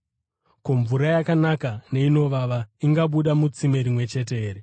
Ko, mvura yakanaka neinovava ingabuda mutsime rimwe chete here?